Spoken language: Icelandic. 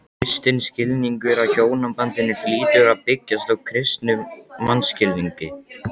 Kristinn skilningur á hjónabandinu hlýtur að byggjast á kristnum mannskilningi.